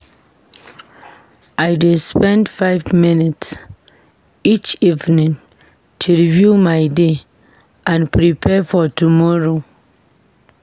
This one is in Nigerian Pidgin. I dey spend five minutes each evening to review my day and prepare for tomorrow.